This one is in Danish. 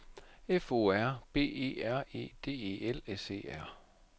F O R B E R E D E L S E R